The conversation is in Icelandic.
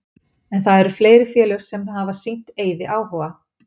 En það eru fleiri félög sem hafa sýnt Eiði áhuga.